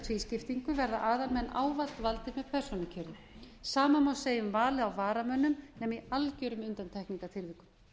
tvískiptingu verða aðalmenn ávallt valdir með persónukjöri sama má segja um valið á varamönnum nema í algjörum undantekningartilvikum